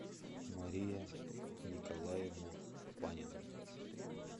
мария николаевна панина